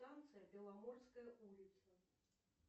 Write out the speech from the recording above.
станция беломорская улица